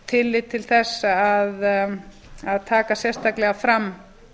tillit til þess að taka sérstaklega fram